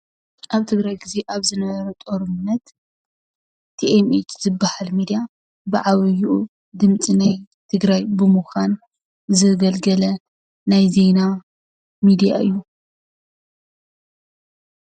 ኣብ ትግራይ ግዜ ኣብ ዝነበረ ጦርነት ቲኤምኤች ዝብሃል ሚድያ ብዓብይኡ ድምፂ ናይ ትግራይ ብምኳን ዘገልገለ ናይ ዜና ሚድያ እዩ፡፡